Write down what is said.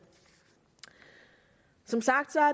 som sagt er